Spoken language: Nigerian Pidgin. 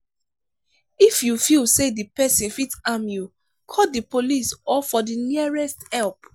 if you feel say di perosn fit harm you call di police or for the nearest help